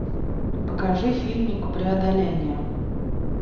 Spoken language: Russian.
покажи фильмик преодоление